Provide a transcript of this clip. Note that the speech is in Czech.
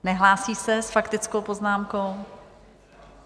Nehlásí se s faktickou poznámkou?